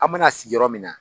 An mana sigi yɔrɔ min na.